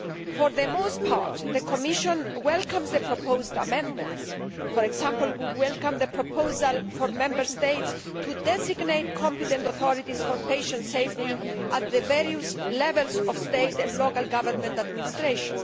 For the most part, the Commission welcomes the proposed amendments for example we welcome the proposal for Member States to designate competent authorities for patient safety at the various levels of state and local government administration.